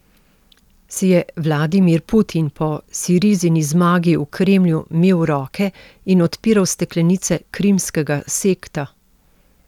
Si je Vladimir Putin po Sirizini zmagi v Kremlju mel roke in odpiral steklenice krimskega sekta?